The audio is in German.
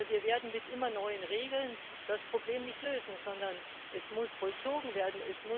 Aber wir werden mit immer neuen Regeln das Problem nicht lösen, sondern es muss vollzogen werden